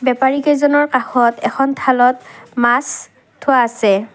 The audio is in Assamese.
বেপাৰী কেইজনৰ কাষত এখন থালত মাছ থোৱা আছে।